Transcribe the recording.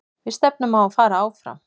Við stefnum á að fara áfram.